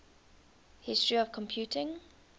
history of computing